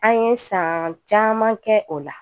An ye san caman kɛ o la